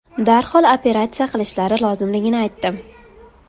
Darhol operatsiya qilishlari lozimligini aytdim.